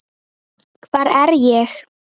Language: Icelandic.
hvar er ég?